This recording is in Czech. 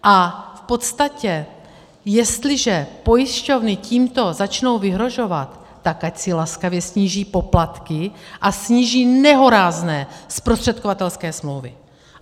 A v podstatě jestliže pojišťovny tímto začnou vyhrožovat, tak ať si laskavě sníží poplatky a sníží nehorázné zprostředkovatelské smlouvy.